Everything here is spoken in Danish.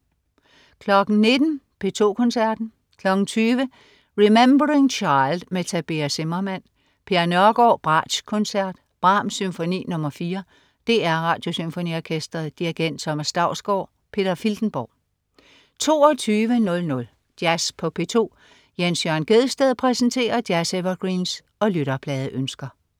19.00 P2 Koncerten. 20.00 Remembering Child med Tabea Zimmermann. Per Nørgård: Bratschkoncert. Brahms: Symfoni nr. 4. DR Radiosymfoniorkestret. Dirigent: Thomas Dausgaard. Peter Filtenborg 22.00 Jazz på P2. Jens Jørn Gjedsted præsenterer jazz-evergreens og lytterpladeønsker